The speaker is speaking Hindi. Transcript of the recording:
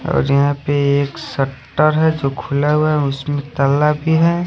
और यहाँ पे एक सेक्टर है जो खुला हुआ है उसमे तगड़ा भी है--